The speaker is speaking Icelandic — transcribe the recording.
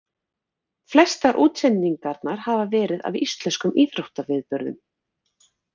Flestar útsendingarnar hafa verið af íslenskum íþróttaviðburðum.